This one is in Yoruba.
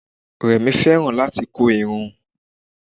Rẹ̀mí fẹ́ràn láti kó irun.